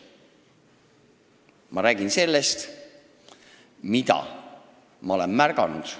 Ma räägin sellest, mida ma olen märganud.